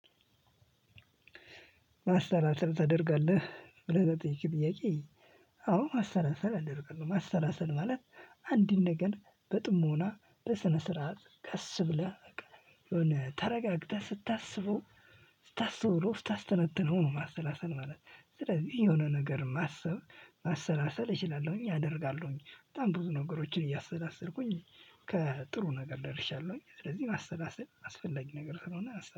ማሰላሰል ተደርጋለህ ብለህ ለጠየከኝ ጥያቄ? አዎ ማሰላሰል አደርጋለሁ ማሰላሰል ማለት አንድን ነገር በጥሞና በስነ ስርዓት ቀስ ብለህ የሆነ ተረጋግተህ ስታስበው ስታስተውለው ስታስተነትነው ነው። ማሰላሰል ማለት ስለዚህ የሆነ ነገር ማሰብ ማሰላሰል እችላለሁኝ አደርጋለሁኝ በጣም ብዙ ነገሮችን እያሰላሰልኩኝ ከጥሩ ነገር ደርሻለሁኝ። ስለዚህ ማሰላሰል ማስፈለጊ ነገር ስለሆነ